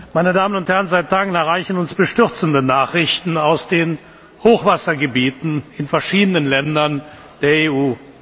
Meine Damen und Herren, seit Tagen erreichen uns bestürzende Nachrichten aus den Hochwassergebieten in verschiedenen Ländern der EU.